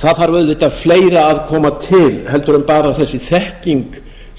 það þarf auðvitað fleira að koma til heldur en bara þessi þekking